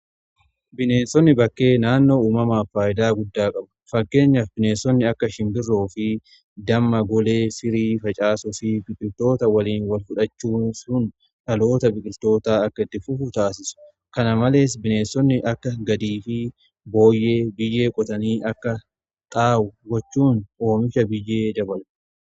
Bineensonni bakkee naannoo uumamaaf faayidaa guddaa qabu . Fakkeenyaaf bineensonni akka shimbirroo fi damma golee sirii facaasu fi biqiltoota waliin wal fudhachiisuun sun dhaloota biqiltootaa akka itti fufuu taasisu. Kana malees bineessonni akka booyyee biyyee qotanii akka xaa'oo gochuun oomisha biyyee dabalu.